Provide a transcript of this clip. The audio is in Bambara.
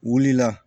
Wuli la